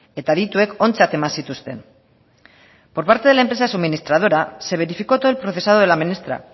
eta adituek ontzat eman zituzten por parte de la empresa suministradora se verificó todo el procesado de la menestra